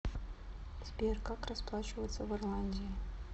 сбер как расплачиваться в ирландии